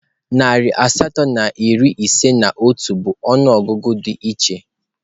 Narị asatọ na iri ise na otu bụ ọnụọgụgụ di iche.